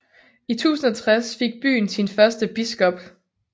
I 1060 fik byen sin første biskop